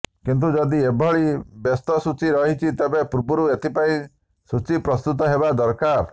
କିନ୍ତୁ ଯଦି ଏଭଳି ବ୍ୟସ୍ତ ସୂଚୀ ରହିଛି ତେବେ ପୂର୍ବରୁ ଏଥିପାଇଁ ସୂଚୀ ପ୍ରସ୍ତୁତ ହେବା ଦରକାର